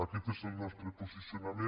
aquest és el nostre posicionament